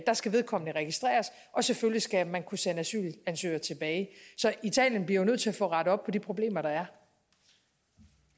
skal vedkommende registreres og selvfølgelig skal man kunne sende asylansøgere tilbage så italien bliver jo nødt til at få rettet op på de problemer der